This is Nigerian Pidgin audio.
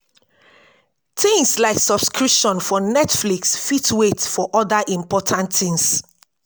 things like subscription for netflix fit wait for oda important things